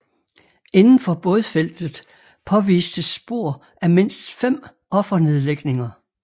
Indenfor bådfeltet påvistes spor af mindst fem offernedlægninger